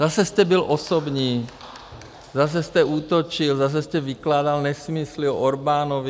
Zase jste byl osobní, zase jste útočil, zase jste vykládal nesmysly o Orbánovi.